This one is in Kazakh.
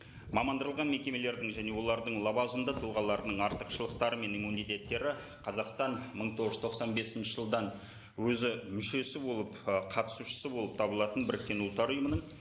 мекемелердің және олардың лауазымды тұлғаларының артықшылықтары мен иммунитеттері қазақстан мың тоғыз жүз тоқсан бесінші жылдан өзі мүшесі болып ы қатусышысы болып табылатын біріккен ұлттар ұйымының